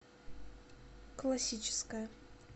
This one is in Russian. классическая